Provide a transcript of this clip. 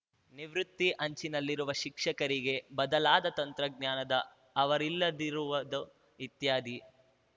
ನಿವೃತ್ತಿ ಅಂಚಿನಲ್ಲಿರುವ ಶಿಕ್ಷಕರಿಗೆ ಬದಲಾದ ತಂತ್ರಜ್ಞಾನದ ಅವರಿಲ್ಲದಿರುವುದು ಇತ್ಯಾದಿ